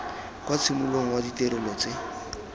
kwa tshimologong wa ditirelo tse